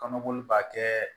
Kɔnɔboli b'a kɛ